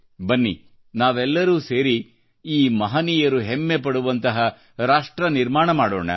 ಬನ್ನಿ ನಾವೆಲ್ಲರೂ ಸೇರಿ ಈ ಮಹನೀಯರು ಹೆಮ್ಮೆಪಡುವಂತಹ ರಾಷ್ಟ್ರನಿರ್ಮಾಣ ಮಾಡೋಣ